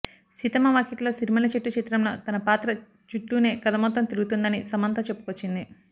సీతమ్మ వాకిట్లో సిరిమల్లె చెట్టు చిత్రం లో తన పాత్ర చుట్టూనే కథ మొత్తం తిరుగుతుందని సమంత చెప్పుకొచ్చింది